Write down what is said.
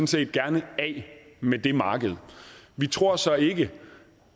set gerne af med det marked vi tror så ikke